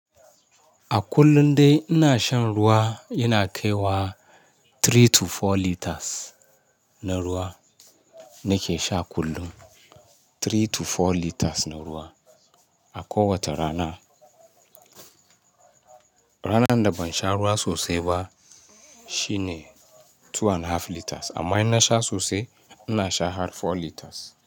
A kullum dai ina shan ruwa, yana kai wa three to four liters na ruwa nake sha kullum. Three to four liters na ruwa a kowace rana. Ranar da ban sha ruwa sosai ba shine two and half liters amma in na sha sosai ina sha har four liters.